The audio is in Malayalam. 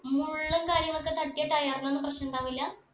മുള്ളും കാര്യങ്ങളൊക്കെ തട്ടിയ tire ന് ഒന്നും പ്രശ്നിണ്ടാവൂല്ല